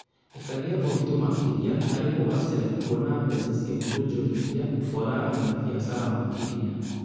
Ĩkagĩa ũritũ makĩria harĩ kugacĩra kwona mbeca cia kwonjorithia kwararamia biacara makĩria